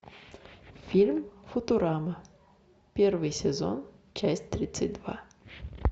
фильм футурама первый сезон часть тридцать два